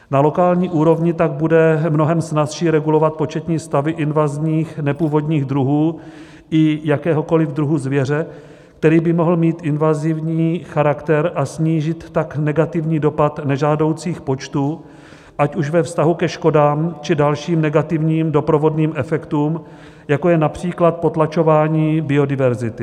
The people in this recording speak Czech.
Na lokální úrovni tak bude mnohem snazší regulovat početní stavy invazních nepůvodních druhů i jakéhokoliv druhu zvěře, který by mohl mít invazivní charakter, a snížit tak negativní dopad nežádoucích počtů, ať už ve vztahu ke škodám či dalším negativním doprovodným efektům, jako je například potlačování biodiverzity.